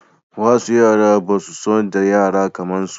Wasu yara ba su son da yara kaman su